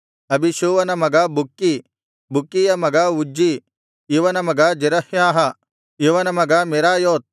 ಅಬೀಷೂವನ ಮಗ ಬುಕ್ಕೀ ಬುಕ್ಕೀಯ ಮಗ ಉಜ್ಜೀ ಇವನ ಮಗ ಜೆರಹ್ಯಾಹ ಇವನ ಮಗ ಮೆರಾಯೋತ್